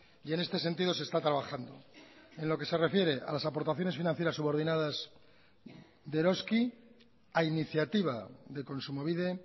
y en este sentido se está trabajando en lo que se refiere a las aportaciones financieras subordinadas de eroski a iniciativa de kontsumobide